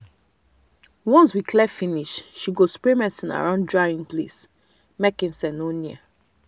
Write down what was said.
once we clear finish she go spray medicine around drying place make insect no near.